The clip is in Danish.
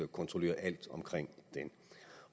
kontrollere alt